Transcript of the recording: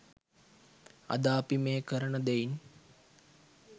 අද අපි මේ කරන දෙයින්